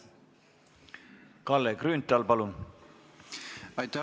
Kalle Grünthal, palun!